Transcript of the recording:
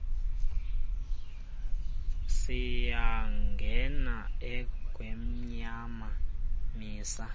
siyangena engwemnyama misa